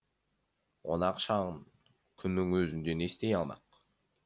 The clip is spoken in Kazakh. оны ақшан күннің өзінде не істей алмақ